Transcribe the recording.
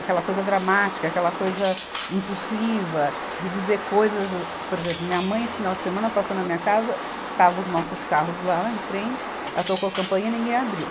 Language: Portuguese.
Aquela coisa dramática, aquela coisa impulsiva, de dizer coisas a, por exemplo, minha mãe, esse final de semana, passou na minha casa, estavam os nossos carros lá em frente, ela tocou a campainha e ninguém abriu.